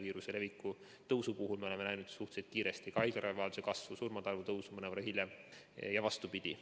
viiruse leviku tõusu puhul me oleme näinud suhteliselt kiiresti ka haiglaravivajaduse kasvu ning surmade arvu tõusu mõnevõrra hiljem ja vastupidi.